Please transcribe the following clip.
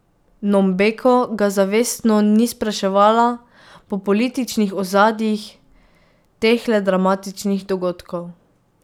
Nombeko ga zavestno ni spraševala po političnih ozadjih tehle dramatičnih dogodkov.